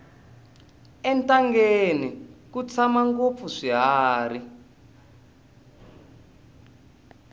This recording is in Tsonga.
entangeni ku tshama ngopfu swiharhi